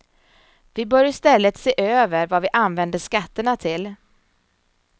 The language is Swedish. Vi bör i stället se över vad vi använder skatterna till.